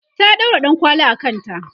ta ɗaura ɗankwali a kanta